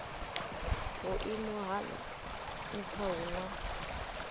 vhuimo ha nha hu na